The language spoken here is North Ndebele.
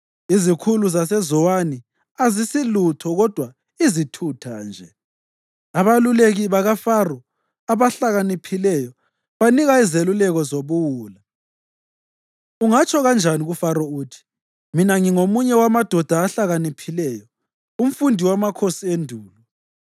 Izikhulu zaseZowani azisilutho kodwa izithutha nje; abaluleki bakaFaro abahlakaniphileyo banika izeluleko zobuwula. Ungatsho kanjani kuFaro uthi, “Mina ngingomunye wamadoda ahlakaniphileyo, umfundi wamakhosi endulo?”